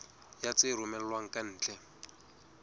ya tse romellwang ka ntle